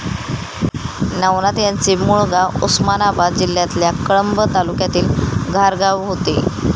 नवनाथ यांचे मूळ गाव उस्मानाबाद जिल्ह्यातल्या कळंब तालुक्यातील घारगाव होते.